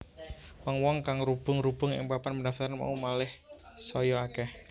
Wong wong kang rubung rubung ing papan pendaftaran mau malih saya akeh